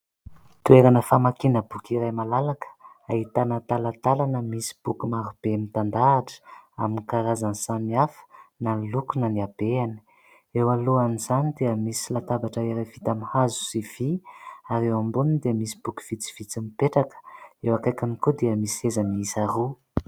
Toerana famakiana boky iray malalaka ahitana talantalana misy boky maro be mitandahatra amin'ny karazany samihafa na ny loko na ny habeany. Eo alohan'izany dia misy latabatra iray vita amin'ny hazo sy vỳ, ary eo amboniny dia misy boky vitsivitsy mipetraka. Eo akaikiny koa dia misy seza miisa roa.